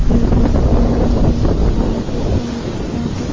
पैदा कर रहा है और बहुत सारे--